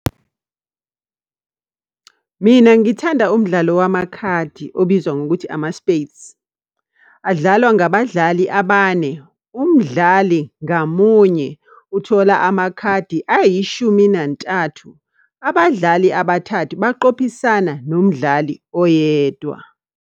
Mina ngithanda umdlalo wamakhadi obizwa ngokuthi ama-spades. Adlalwa ngabadlali abane. Umdlali ngamunye uthola amakhadi ayishumi nantathu. Abadlali abathathu baqophisana nomdlali oyedwa.